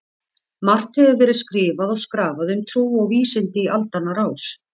Margt hefur verið skrifað og skrafað um trú og vísindi í aldanna rás.